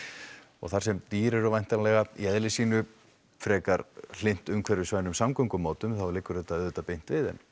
og þar sem dýr eru í eðli sínu hlynnt umhverfisvænum samgöngumátum liggur þetta auðvitað beint við en